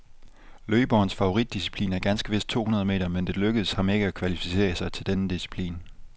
Løberens favoritdisciplin er ganske vist to hundrede meter, men det lykkedes ham ikke at kvalificere sig til denne disciplin.